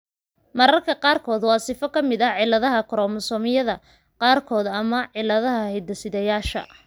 Mararka qaarkood waa sifo ka mid ah cilladaha koromosoomyada qaarkood ama cilladaha hidde-sideyaasha.